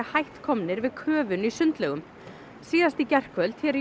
hætt komnir við köfun í sundlaugum síðast í gærkvöld hér